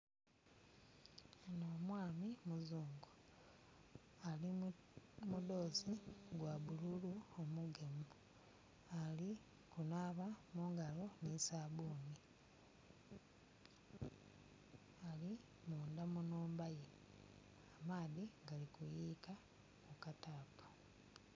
Ono omwami muzungu ali mu mudhozi gwa bululu omugemu ali kunaaba mungalo ni sabuni, ali munda mu nhumba ye amaadhi gali kuyuyika ku katapu.